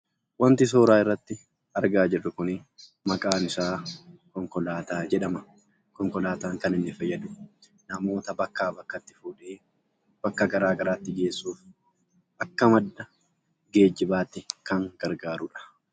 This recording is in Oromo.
Wanti suuraa irratti argaa jirru kun maqaan isaa konkolaataa jedhama. Konkolaataan kan inni fayyadu namoota bakkaa bakkatti fuudhee, bakka garaagaraatti geessuuf akka madda geejjibaatti kan gargaaruudha.